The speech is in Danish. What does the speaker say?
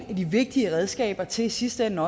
af de vigtige redskaber til i sidste ende